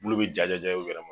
Bulu bi jaja u yɛrɛ ma